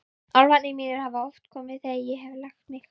Álfarnir mínir hafa oft komið þegar ég hef lagt mig.